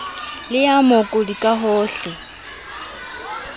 le ya mookodi ka hohle